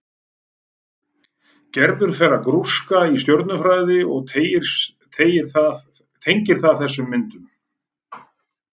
Gerður fer að grúska í stjörnufræði og tengir það þessum myndum.